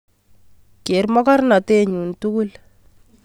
Ker mokornote nyun tugul